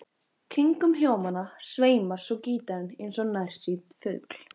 Kringum hljómana sveimar svo gítarinn eins og nærsýnn fugl.